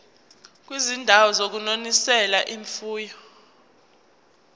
kwizindawo zokunonisela imfuyo